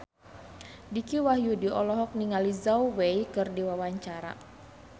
Dicky Wahyudi olohok ningali Zhao Wei keur diwawancara